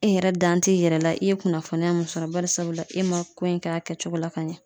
E yɛrɛ dan t'i yɛrɛ la i ye kunnafoniya mun sɔrɔ barisabula e ma ko in k'a kɛcogo la ka ɲɛ